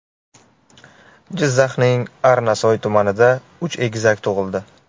Jizzaxning Arnasoy tumanida uch egizak tug‘ildi.